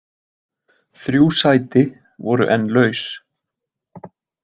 Þrjú sæti voru enn laus.